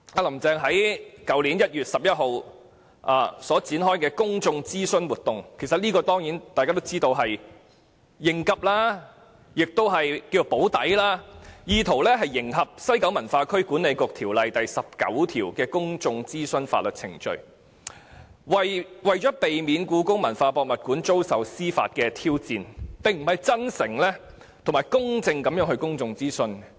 "林鄭"在去年1月11日展開公眾諮詢活動，大家當然知道這只是應急、"補底"，意圖迎合《西九文化區管理局條例》第19條的公眾諮詢程序，避免故宮館的興建計劃遭受司法挑戰，而不是真誠及公正地進行公眾諮詢。